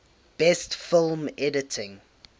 best film editing